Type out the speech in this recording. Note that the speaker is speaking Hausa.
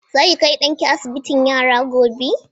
Za ki kai ɗanki asibitin yara gobe?